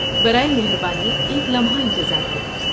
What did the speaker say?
برائے مہربانی ایک لمحہ انتظار کریں۔